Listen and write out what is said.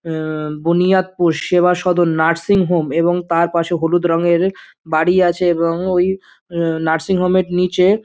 অ-অ Buniadpur Seva Sadan nursing home এবং তার পশে হলুদ রংএর বাড়ি আছে এবং ওই উম নার্সিং হোমের নিচে--